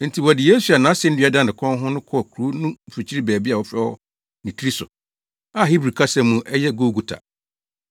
Enti wɔde Yesu a nʼasennua da ne kɔn ho no kɔɔ kurow no mfikyiri baabi a wɔfrɛ hɔ “Nitiri So”, a Hebri kasa mu ɛyɛ “Golgota”.